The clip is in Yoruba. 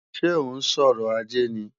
Ṣé ó ń sọrọ̀ ajé ni?